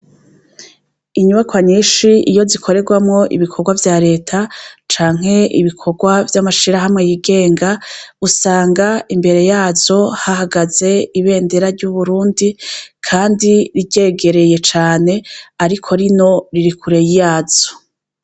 Inyubakwa nyinshi iyo zikorerwamwo ibikorwa vya reta canke ibikorwa vy'amashirahamwe yigenga usanga imbere yazo hahagaze ibendera ry'uburundi kandi ryegereye cane ariko rino riri kure yazo.